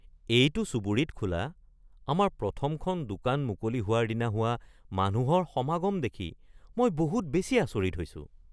এইটো চুবুৰীত খোলা আমাৰ প্ৰথমখন দোকান মুকলি হোৱাৰ দিনা হোৱা মানুহৰ সমাগম দেখি মই বহুত বেছি আচৰিত হৈছোঁ।